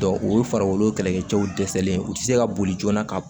o ye farikolo kɛlɛkɛcɛw dɛsɛlen u tɛ se ka boli joona ka